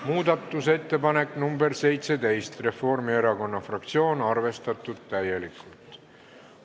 Muudatusettepanek nr 17 Reformierakonna fraktsioonilt, arvestatud täielikult.